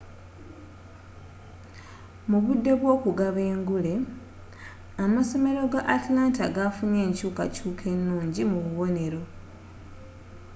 mu budde bw'okugaba engule amasomera ga atlanta gafunye enkyuukakyuuka ennungi mu bubonero